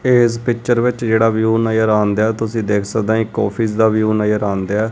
ਤੇ ਇਸ ਪਿਚਰ ਵਿੱਚ ਵਿਊ ਜਿਹੜਾ ਨਜ਼ਰ ਆਉਂਦਾ ਤੁਸੀਂ ਦੇਖ ਸਕਦੇ ਹੋ ਇੱਕ ਆਫਿਸ ਦਾ ਵਿਊ ਨਜ਼ਰ ਆਉਂਦਾ।